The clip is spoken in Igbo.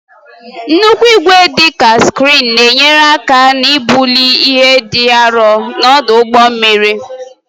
Nnukwu igwe, dị ka kreen, na-enyere aka ibuli ihe dị arọ n'ọdụ ụgbọ mmiri.